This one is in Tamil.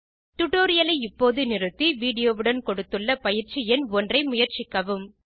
டியூட்டோரியல் ஐ இப்போது நிறுத்தி வீடியோ வுடன் கொடுத்துள்ள பயிற்சி எண் ஒன்றை முயற்சிக்கவும்